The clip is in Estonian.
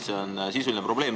See on sisuline probleem.